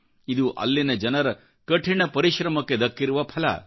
ಇದು ಅಲ್ಲಿನ ಜನರ ಕಠಿಣ ಪರಿಶ್ರಮಕ್ಕೆ ದಕ್ಕಿರುವ ಫಲ